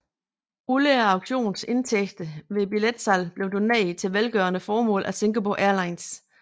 Alle auktionens indtægter ved billetsalget blev doneret til velgørende formål af Singapore Airlines